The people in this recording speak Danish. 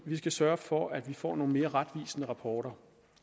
vi skal sørge for at vi får nogle mere retvisende rapporter